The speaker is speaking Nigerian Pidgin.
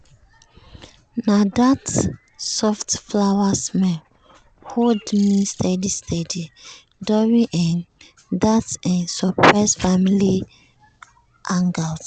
um na that soft flower-smell hold me steady steady during um that um surprise family hangout.